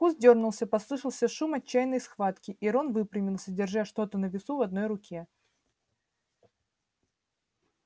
куст дёрнулся послышался шум отчаянной схватки и рон выпрямился держа что-то на весу в одной руке